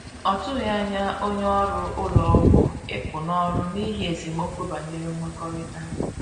Ọ tụghi anya onye ọrụ ụlọ ọgwụ ịpụ n'ọrụ n'ihi esemeokwu banyere nwekorita.